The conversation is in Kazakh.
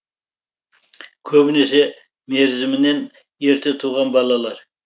көбінесе мерзімінен ерте туған балалар